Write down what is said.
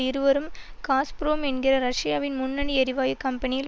இருவரும் காஸ்புரோம் என்கிற ரஷ்யாவின் முன்னணி எரிவாயு கம்பெனியில்